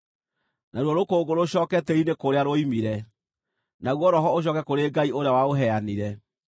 naruo rũkũngũ rũcooke tĩĩri-inĩ kũrĩa ruoimire, naguo roho ũcooke kũrĩ Ngai ũrĩa waũheanire.